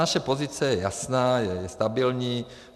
Naše pozice je jasná, je stabilní.